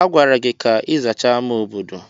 A gwara gị ka ị zachaa ámá obodo!